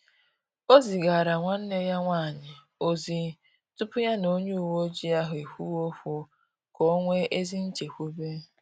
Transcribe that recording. Ọ zigara nwanne ya nwanyị ozi tupu ya na onye uweojii ahụ ekwuwe okwu, ka o nwee ezi nchekwube